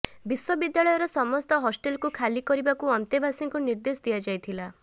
ବିଶ୍ୱବିଦ୍ୟାଳୟର ସମସ୍ତ ହଷ୍ଟେଲକୁ ଖାଲି କରିବାକୁ ଅନ୍ତେବାସୀଙ୍କୁ ନିର୍ଦ୍ଦେଶ ଦିଆଯାଇଥିଲା